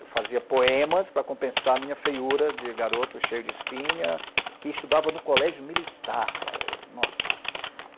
Eu fazia poemas para compensar a minha feiura de garoto cheio de espinha, que estudava no colégio militar cara, nossa...